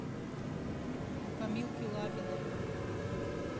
камилки лапиной